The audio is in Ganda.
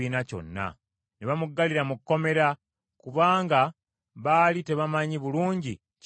ne bamuggalira mu kkomera, kubanga baali tebamanyi bulungi kya kumukolera.